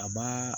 A b'aa